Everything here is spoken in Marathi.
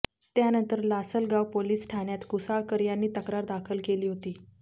त्यानंतर लासलगाव पोलीस ठाण्यात कुसाळकर यांनी तक्रार दाखल केली होती